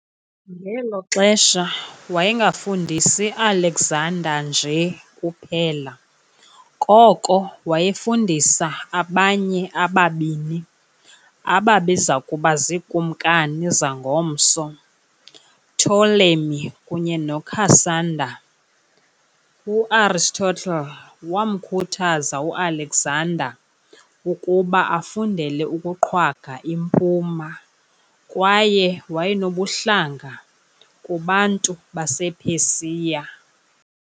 Ngelo xesha wayengafundisi Alexander nje kuphela, koko wayefundisa abanye ababini ababezakuba ziikumkani zangomso- Ptolemy kunye noCassander. U-Aristotle waamkhuthaza uAlexander ukuba afundele ukuqhwaga impuma, kwaye wayenobuhlanga kubantu basePersia.